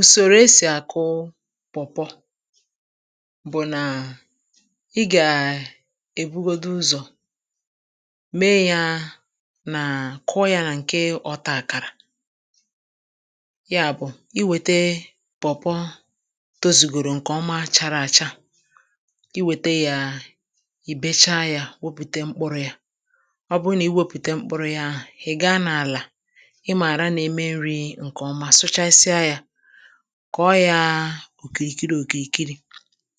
Usorò esì akụụ̀ pawpaw bụ̀ naa ị gaa ebugodù ụzọ̀ mee yaa naa kụọ ya na-nke ọtà akarà ya bụ̀ i wetee pawpaw tozugodorò nke ọmà charà achà i wete yaa ibesa ya yà, wepute m̄kpụrụ̀ yà ọ bụrụ̀ na-ewepute m̄kpụrụ̀ ya ahụ̀ ị ga n’alà ị marà na-eme nrì nke ọmà, sụchasịà yà kọ yaa okirikiri okirikirì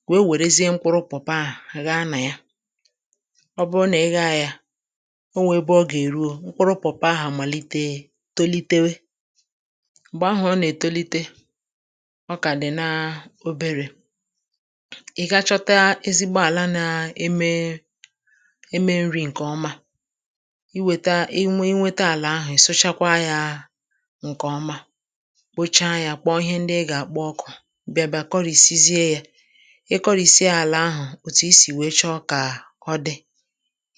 wee werezie m̄kpụrụ̀ pawpaw ahụ̀ aghà na yà ọ bụrụ na ị gha yà onwere ebe ọ ga-erùo, m̄kpụrụ̀o pawpaw ahụ̀ amalitee tolitewe m̄gbe ahụ̀ ọ na-etolitè ọ ka dị̀ naa oberè ị gaa chọtà ezigbo alà na-emee eme nrì nke ọmà i weta, inwe nwetà alà ahụ̀ ịsụchakwa yaa nke ọmà kpocha yà, ị kpọ ihe ndị̀ ị ga-akpọ̀ ọkụ̀ ị bịà bịà kọrisizie yà i korisià alà ahụ̀ otù isi wee chọ̀ kaa ọ dị̀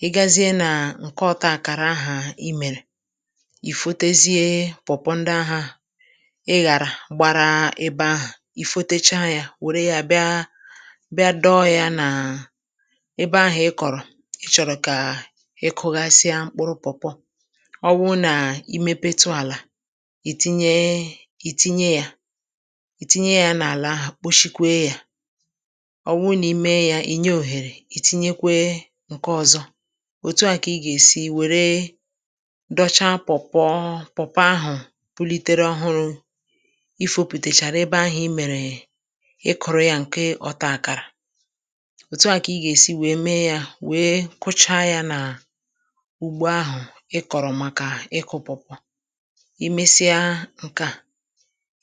i gazie na nke ọtà akarà ahụ̀ imerè i foteziee pawpaw ndị ahụ̀ ịgharà gbarà ebe ahụ̀ i fotecha yà were yà bịaa bịà dọọ yà naa ebe ahụ̀ ịkọrọ̀ ị chọrọ̀ kaa ị kụwazịà m̄kpụrụ̀ pawpaw ọ bụrụ̀ na i mepetù alà i tinyee i tinye yà i tinye yà n’alà ahụ̀ kpochikwe yà ọ bụrụ̀ na-eme yà, i nye oherè i tinyekwee nke ọzọ̀ otù ahụ̀ ka ị ga-esi weree becha paw paw ọọ pawpaw ahụ̀ pulitere ọhụrụ̀ i foputacharà ebe ahụ̀ emeree ị kụrụ̀ yà nke ọtà akarà otù à ka ị ga-esi mee yà wee kụcha ya naa ugbo ahụ̀ ị kọrọ̀ makà ịkụ̀ pawpaw i mesịaa nke à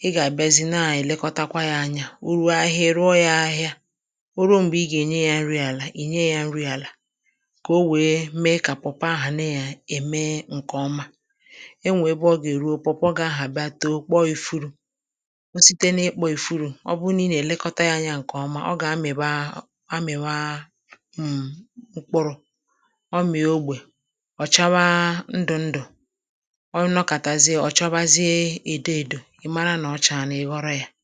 ị ga-abịazi na-elekọtakwà ya anyà o ruò ahịà, ị rụọ̀ yà ahịà o ruo m̄gbe ị ga-enye yà nrì alà, i nye yà nrì alà ka o wee ka pawpaw ahụ̀ na-eme nke ọmà enwe ebe ọ ga-erù, pawpaw gị̀ ahụ̀ abịà toò kpọ ifurù o sitē na-ikpọ̀ ifurù ọ bụ na ị ga-elekọtà yà anya nke ọmà, ọ ga-amịwaa amịwaa mm m̄kpụrụ̀ ọ mịà ogbe ọ chawaa ndụ ndụ̀ ọ nọkatazie, ọ chabazie edo edò ị marà na ọ chaanà, ị ghọrọ̀ yà